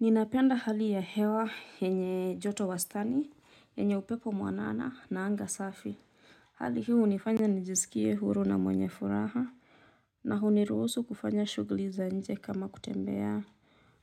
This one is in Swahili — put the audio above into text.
Ninapenda hali ya hewa yenye joto wastani, yenye upepo mwanana na anga safi. Hali hii hunifanya nijisikie huru na mwenye furaha. Na hunirusu kufanya shughuli za nje kama kutembea.